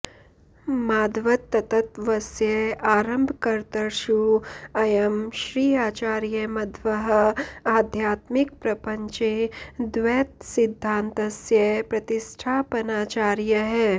माध्वतत्त्वस्य आरम्भकर्तृषु अयं श्री आचार्यमध्वः आध्यात्मिकप्रपञ्चे द्वैतसिद्धान्तस्य प्रतिष्ठापनाचार्यः